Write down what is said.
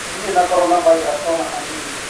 Ndirĩ na corona virus o na hanini.